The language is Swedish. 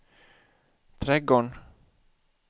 trädgården